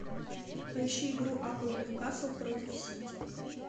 поищи игру апл ньюкасл против сити